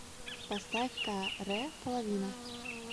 поставь ка рэ половина